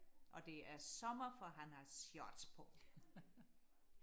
og det er sommer for han har shorts på